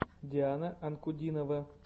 диана анкудинова